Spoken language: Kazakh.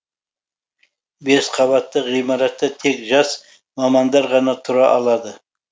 бес қабатты ғимаратта тек жас мамандар ғана тұра алады